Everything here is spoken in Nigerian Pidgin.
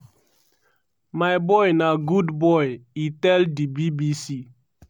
"my boy na good boy" e tell di bbc.